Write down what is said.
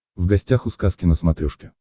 в гостях у сказки на смотрешке